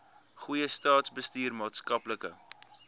goeie staatsbestuur maatskaplike